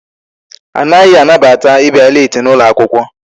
Anaghị anabata ịbịa leeti n'ụlọ akwụkwọ.